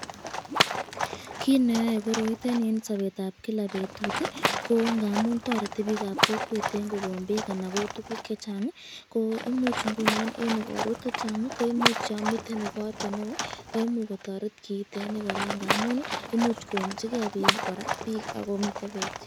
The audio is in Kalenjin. Kiit neyoe koroitet nii en sobetab kilak betut ko ng'amun toreti biikab kokwet en kouu okot ko koon beek anan tukuk chechang ko imuch ing'unon en ikorwek chechang koimuch yoon mii ikorto neoo koimuch kotoret kiitet kora ng'amun imuch koumchike biik ak ko miten beek.